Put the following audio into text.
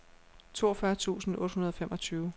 toogfyrre tusind otte hundrede og femogtyve